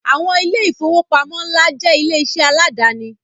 Àwọn ilé ìfowópamọ́ ńlá jẹ́ ilé iṣẹ́ aláàdáni